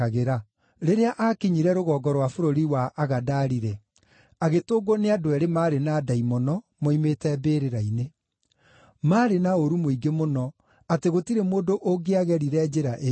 Rĩrĩa aakinyire rũgongo rwa bũrũri wa Agadari-rĩ, agĩtũngwo nĩ andũ eerĩ maarĩ na ndaimono, moimĩte mbĩrĩra-inĩ. Maarĩ na ũũru mũingĩ mũno, atĩ gũtirĩ mũndũ ũngĩagerire njĩra ĩyo.